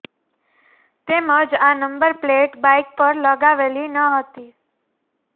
તેમજ આ number plate bike પર લગાવેલી ન હતી